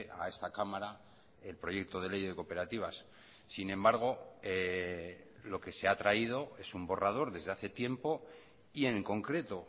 a esta cámara el proyecto de ley de cooperativas sin embargo lo que se ha traído es un borrador desde hace tiempo y en concreto